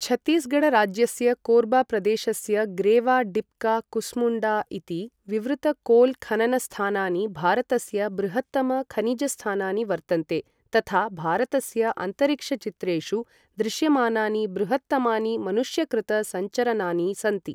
छत्तीसगढ राज्यस्य कोर्बा प्रदेशस्य गेव्रा, डिप्का, कुस्मुण्डा इति विवृत कोल् खननस्थानानि भारतस्य बृहत्तम खनिजस्थानानि वर्तन्ते तथा भारतस्य अन्तरिक्षचित्रेषु दृश्यमानानि बृहत्तमानि मनुष्यकृत संरचनानि सन्ति।